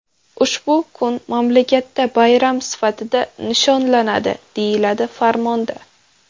Ushbu kun mamlakatda bayram sifatida nishonlanadi, deyiladi farmonda.